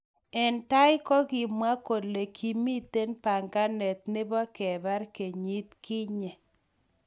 Eng tai kokikamwa kole kimitei banganet nebo kebar kenyit kinye.